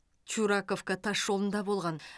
чураковка тасжолында болған